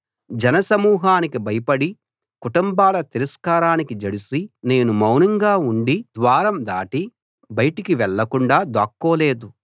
జన సమూహానికి భయపడి కుటుంబాల తిరస్కారానికి జడిసి నేను మౌనంగా ఉండి ద్వారం దాటి బయటికి వెళ్లకుండా దాక్కోలేదు